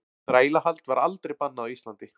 Þrælahald var aldrei bannað á Íslandi.